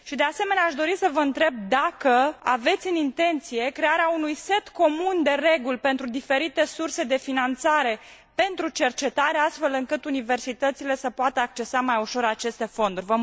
Și, de asemenea, aș dori să vă întreb dacă aveți în vedere crearea unui set comun de reguli pentru diferite surse de finanțare pentru cercetare, astfel încât universitățile să poată accesa mai ușor aceste fonduri.